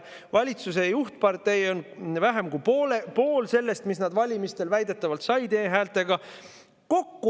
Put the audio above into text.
Valitsuse juhtpartei on vähem kui pool sellest, mis nad valimistel väidetavalt said e-häältega.